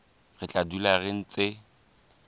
re tla dula re ntse